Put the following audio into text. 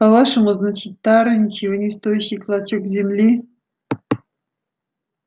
по-вашему значит тара ничего не стоящий клочок земли